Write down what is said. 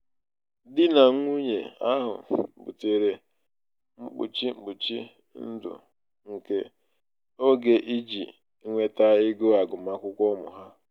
di na nwunye ahụ butere mkpuchi mkpuchi ndụ nke oge iji nweta ego agụmakwụkwọ ụmụ ha.